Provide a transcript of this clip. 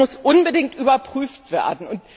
Das muss unbedingt überprüft werden.